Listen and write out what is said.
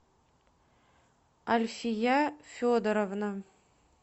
альфия федоровна